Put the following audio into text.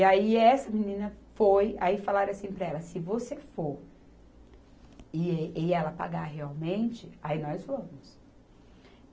E aí essa menina foi, aí falaram assim para ela, se você for e, e ela pagar realmente, aí nós vamos.